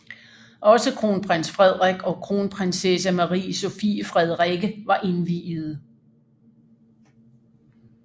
Også kronprins Frederik og kronprinsesse Marie Sophie Frederikke var indviede